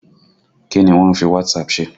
Kí ni wọ́n ń fi WhatsApp ṣe?